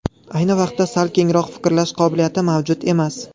Ayni vaqtda sal kengroq fikrlash qobiliyati mavjud emas.